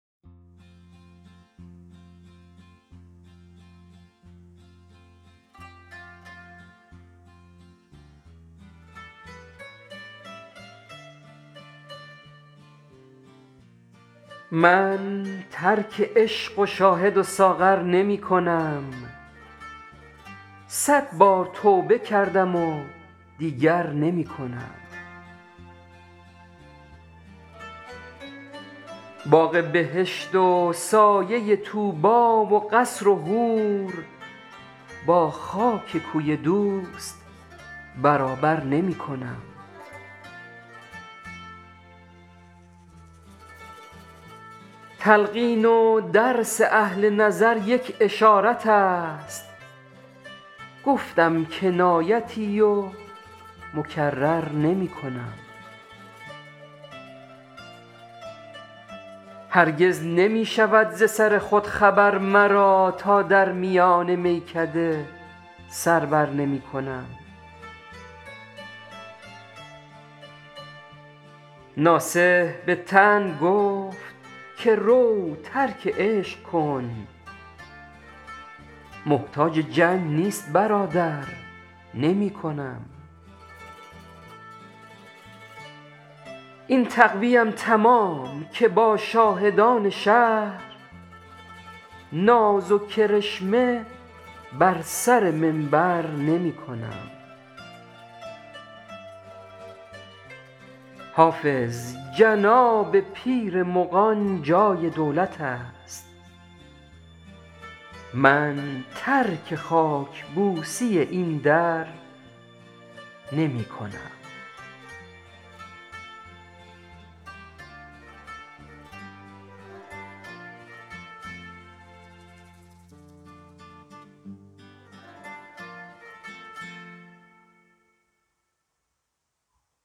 من ترک عشق شاهد و ساغر نمی کنم صد بار توبه کردم و دیگر نمی کنم باغ بهشت و سایه طوبی و قصر و حور با خاک کوی دوست برابر نمی کنم تلقین و درس اهل نظر یک اشارت است گفتم کنایتی و مکرر نمی کنم هرگز نمی شود ز سر خود خبر مرا تا در میان میکده سر بر نمی کنم ناصح به طعن گفت که رو ترک عشق کن محتاج جنگ نیست برادر نمی کنم این تقوی ام تمام که با شاهدان شهر ناز و کرشمه بر سر منبر نمی کنم حافظ جناب پیر مغان جای دولت است من ترک خاک بوسی این در نمی کنم